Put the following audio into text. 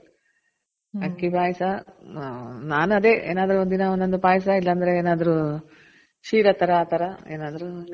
ಅಕ್ಕಿ ಪಾಯ್ಸ. ನಾನ್ ಅದೆ ಏನಾದ್ರು ದಿನ ಒಂದೊಂದು ಪಾಯ್ಸ ಇಲ್ಲ ಅಂದ್ರೆ ಏನಾದ್ರು ಕ್ಷೀರ ತರ ಆ ತರ ಏನಾದ್ರು ನೈವೇದ್ಯಕ್ಕೆ